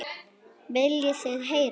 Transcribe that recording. Viljið þið heyra?